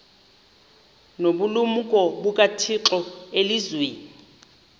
nobulumko bukathixo elizwini